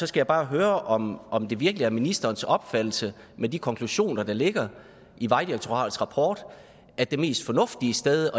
skal bare høre om om det virkelig er ministerens opfattelse med de konklusioner der ligger i vejdirektoratets rapport at det mest fornuftige sted